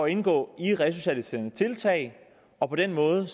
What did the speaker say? indgå i resocialiserende tiltag og på den måde